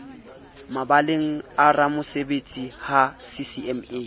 mabaleng a ramosebetsi ha ccma